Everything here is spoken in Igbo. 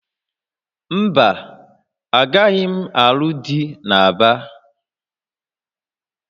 Mba, agaghị m alụ dị na Aba